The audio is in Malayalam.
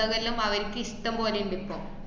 പുസ്തകം വല്ലോം അവര്ക് ഇഷ്ടംപോലെ ഇണ്ട് ഇപ്പോ